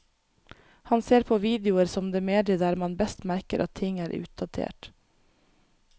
Han ser på videoer som det mediet der man best merker at ting er utdatert.